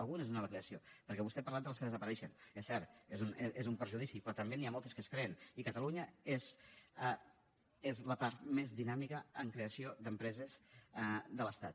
algunes de nova creació perquè vostè ha parlat de les que desapareixen és cert és un perjudici però també n’hi ha moltes que es creen i catalunya és la part més dinàmica en creació d’empreses de l’estat